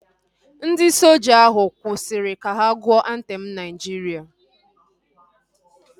Ndị soja ahu kwụsịrị ka ha gụọ antem Naijiria